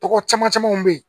Tɔgɔ caman camanw be ye